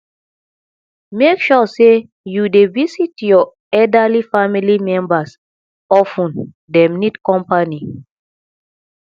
make sure sey you dey visit your elderly family members of ten dem need company